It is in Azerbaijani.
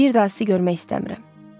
Bir daha sizi görmək istəmirəm.